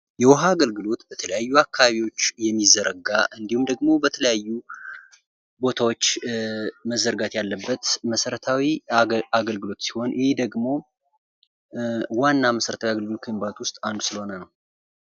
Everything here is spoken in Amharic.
የውሃ አገልግሎት በተለያዩ አካባቢዎች የሚዘረጋ እንዲሁም፤ ደግሞ በተለያዩ ቦታዎች መዘጋት ያለበት መሰረታዊ አገልግሎት ሲሆን፤ ይህ ደግሞ ዋና መሰረታዊ አገልግሎት ውስጥ አንዱ የሚባል ስለሆነ ነው።